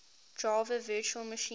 java virtual machine